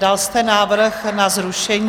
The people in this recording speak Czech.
Dal jste návrh na zrušení...